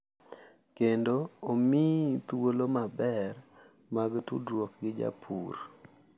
Kendo omiyi thuolo mabeyo mag tudruok gi japur.